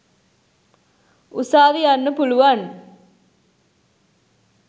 උසාවි යන්න පුළුවන්.